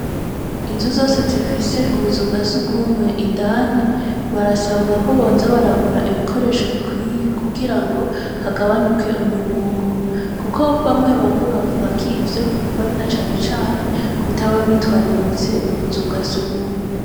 Inzu zose zifise ubuzu bwa surwumwe indani, barasabwa ko boza baragura ibikoresho bikwiye, kugira ngo hagabanuke umunuko; kuko bamwe bamwe bavuga ko ivyo biva na cane cane, kutaba bitwararitse ubuzu bwa surwumwe.